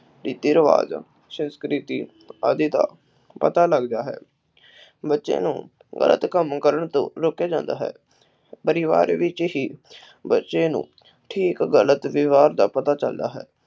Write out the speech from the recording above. ਰੀਤੀ ਰਿਵਾਜ ਸੰਸਕ੍ਰਿਤੀ ਆਦਿ ਦਾ ਪਤਾ ਲੱਗਦਾ ਹੈ ਬੱਚੇ ਨੂੰ ਗ਼ਲਤ ਕੰਮ ਕਰਨ ਤੋਂ ਰੋਕਿਆ ਜਾਂਦਾ ਹੈ। ਪਰਿਵਾਰ ਵਿਚ ਹੀ ਬੱਚੇ ਨੂੰ ਠੀਕ ਗ਼ਲਤ ਵਿਵਹਾਰ ਦਾ ਪਤਾ ਚਲਦਾ ਹੈ।